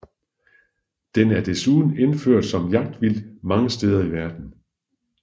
Den er desuden indført som jagtvildt mange steder i verden